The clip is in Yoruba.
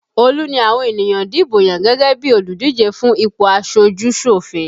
Olu ni àwọn ènìyàn dìbò yàn gẹ́gẹ́ bí olùdíje fún ipò aṣojú-sòfin